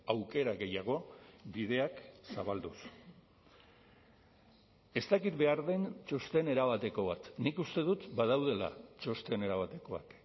aukera gehiago bideak zabalduz ez dakit behar den txosten erabateko bat nik uste dut badaudela txosten erabatekoak